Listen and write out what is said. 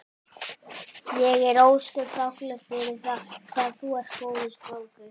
Ég er ósköp þakklát fyrir það hvað þú ert góður strákur.